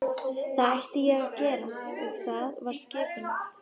Það ætlaði ég að gera og það var skipulagt.